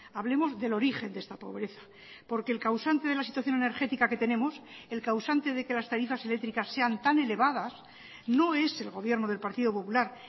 hablemos del origen de esta pobreza porque el causante de la situación energética que tenemos el causante de que las tarifas eléctricas sean tan elevadas no es el gobierno del partido popular